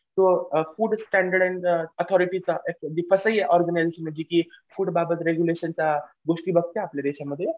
तो food standard आणि अथॉरिटीचा तसं हे ऑर्गनायझेशन म्हणजे जी फूड बाबत रेग्युलेशन त्या गोष्टी बघता आपल्या देशामध्ये